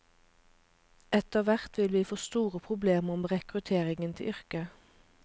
Etter hvert vil vi få store problemer med rekrutteringen til yrket.